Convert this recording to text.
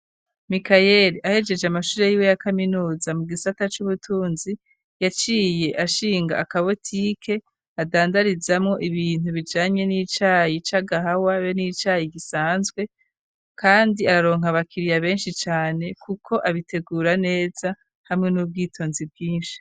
Mikayere ahejeje amashuro y'iwe ya kaminuza mu gisata c'ubutunzi yaciye ashinga akabotike adandarizamo ibintu bijanye n'icayi c'a gahawa be n'icayi gisanzwe, kandi araronka bakiriya benshi cane kuko abitegura neza hamwe n'ubwitonzi bwinshi.